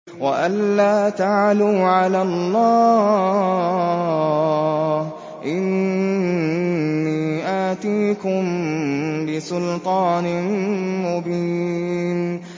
وَأَن لَّا تَعْلُوا عَلَى اللَّهِ ۖ إِنِّي آتِيكُم بِسُلْطَانٍ مُّبِينٍ